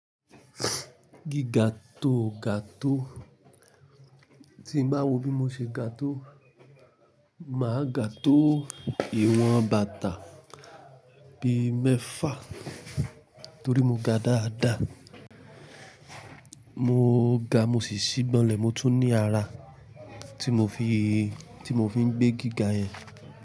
Gíga tó ga tó, tí mo bá wò bí mo ṣe ga tó màá ga tó ìwọ̀n bàtà bí mẹ́fà to ri mo ga dáda. Mo ga mo sì ṣíbọnlẹ̀ mo tún ní ara tí mo fi, tí mo fi ń gbé gíga yẹn.